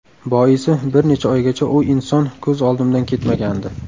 Boisi bir necha oygacha u inson ko‘z oldimdan ketmagandi.